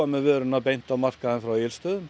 með vöruna beint á markað frá Egilsstöðum